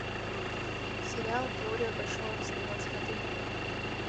сериал теория большого взрыва смотреть онлайн